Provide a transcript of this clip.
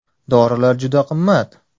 Dorilar juda qimmat.